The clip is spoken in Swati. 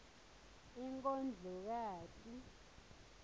inkondlokati